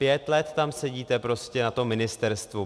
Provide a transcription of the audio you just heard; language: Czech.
Pět let tam sedíte prostě na tom ministerstvu.